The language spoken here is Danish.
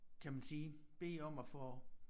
Kan man sige bede om at få